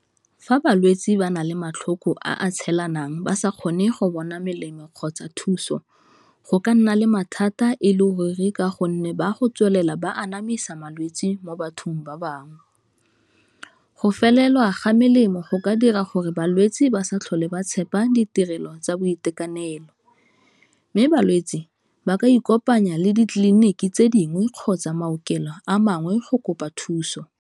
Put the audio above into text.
Fa balwetsi ba na le matlhoko a tshelanang ba sa kgone go bona melemo kgotsa thuso, go ka nna le mathata e le ruri ka gonne ba go tswelela ba anamisa malwetsi mo bathong ba bangwe. Go felelwa ga melemo go ka dira gore balwetse ba sa tlhole ba tshepa ditirelo tsa boitekanelo, mme balwetsi ba ka ikopanya le ditleliniki tse dingwe kgotsa maokelo a mangwe go kopa thuso.